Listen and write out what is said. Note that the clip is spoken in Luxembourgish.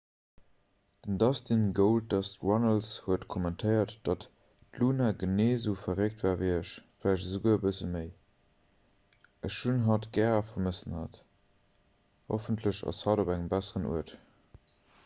den dustin goldust runnels huet kommentéiert datt d'luna genee esou verréckt war ewéi ech vläicht esouguer e bësse méi ech hunn hatt gär a vermëssen hatt hoffentlech ass hatt op engem besseren uert.